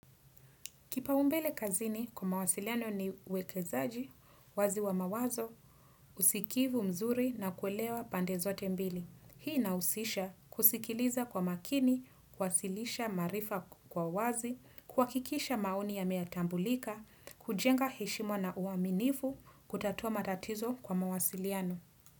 Kipa umbele kazini kwa mawasiliano ni uwekezaji, wazi wa mawazo, usikivu mzuri na kuelewa pande zote mbili. Hii na usisha kusikiliza kwa makini, kwasilisha maarifa kwa wazi, kuhakikisha maoni ya meatambulika, kujenga heshimu na uaminifu, kutatua matatizo kwa mawasiliano.